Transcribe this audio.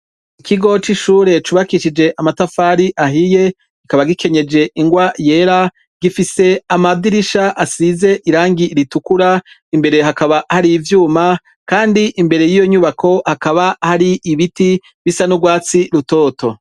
Ikigoc'ishure cubakishije amatafari ahiye gikaba gikenyeje ingwa yera gifise amadirisha asize irangi iritukura imbere hakaba hari ivyuma, kandi imbere y'iyo nyubako hakaba hari ibiti bisa n'urwatsi rutoto.